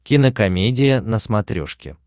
кинокомедия на смотрешке